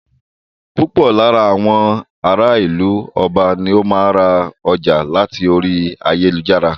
Púpọ̀ lára àwọn ará ìlú Ọba ni o máa ń ra ọjà láti orí ẹ̀rọ ayélujára.